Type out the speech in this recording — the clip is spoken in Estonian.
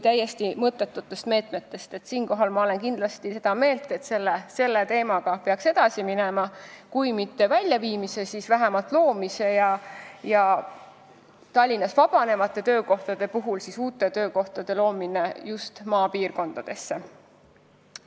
Siinkohal olen kindlasti seda meelt, et selle teemaga peaks edasi minema – vähemalt Tallinnas vabanevate töökohtade väljaviimisega ja uute töökohtade loomisega just maapiirkondadesse.